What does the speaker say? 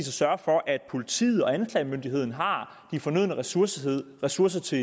sørge for at politiet og anklagemyndigheden har de fornødne ressourcer ressourcer til